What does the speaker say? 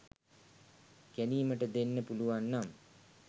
ගැනීමට දෙන්න පුලුවන්නම්